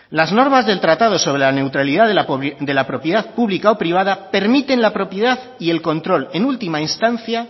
las normas del tratado sobre la neutralidad de la propiedad pública o privada permiten la propiedad y el control en última instancia